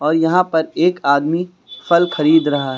और यहां पर एक आदमी फल खरीद रहा है।